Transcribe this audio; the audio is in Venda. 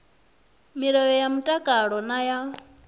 milayo ya mtakalo na ya